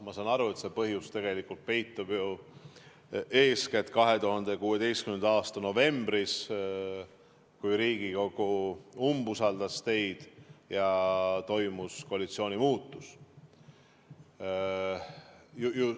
Ma saan aru, et põhjus peitub ju eeskätt 2016. aasta novembris, kui Riigikogu umbusaldas teid ja toimus koalitsiooni muutumine.